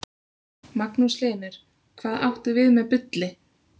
Magnús Hlynur: Hvað áttu við með bulli?